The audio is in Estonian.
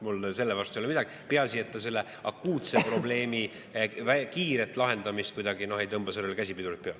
Mul selle vastu ei ole midagi, peaasi, et see selle akuutse probleemi kiirele lahendamisele käsipidurit kuidagi peale ei tõmba.